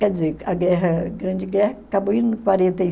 Quer dizer, a guerra Grande Guerra acabou